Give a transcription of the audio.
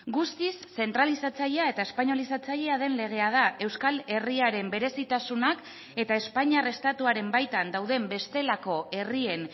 guztiz zentralizatzailea eta espainolizatzailea den legea da euskal herriaren berezitasunak eta espainiar estatuaren baitan dauden bestelako herrien